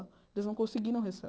Eles não conseguiram